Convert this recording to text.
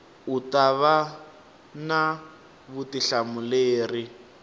u ta va na vutihlamuleri